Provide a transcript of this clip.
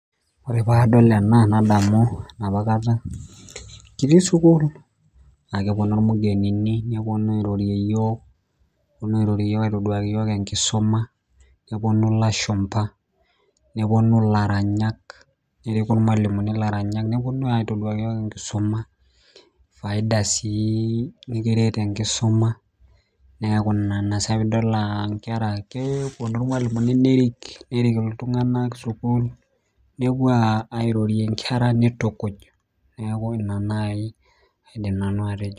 Ore padol ena nadamu enapakata kitii sukuul, akeponu irmugenini neponu airorie yiok, neponu airorie yiok aitoduaki yiok enkisuma, neponu ilashumpa, neponu ilaranyak, neriku irmalimuni ilaranyak, neponu aitoduaki yiok enkisuma, faida si nikiret enkisuma, neeku ina sa pidol ah nkera keeponu irmalimuni nerik nerik iltung'anak sukuul, nepuo airorie nkera nitukuj. Neeku ina nai aidim nanu atejo.